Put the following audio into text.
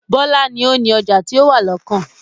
Bọlá ni ó ni ọjà ti ó wà lọ́kàn